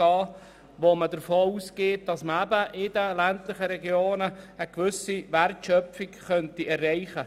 Man geht davon aus, dass man in den ländlichen Regionen eine zusätzliche Wertschöpfung erzielen könnte.